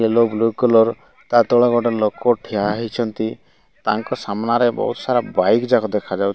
yellow blue colour ତା ତଳେ ଗୋଟେ ଲୋକୋ ଠିଆ ହେଇଛନ୍ତି ତାଙ୍କ ସାମ୍ନାରେ ବୋହୁତ ସାରା ବାଇକ୍ ଯାକ ଦେଖାଯାଉ --